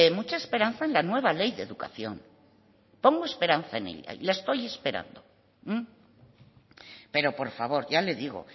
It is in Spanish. mucha esperanza en la nueva ley de educación porque esperanza en ella y la estoy esperando pero por favor ya le digo